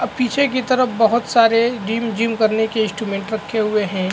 पीछे की तरफ बहुत सारे जिम जिम करने के इंस्ट्रूमेंट रखे हुए है।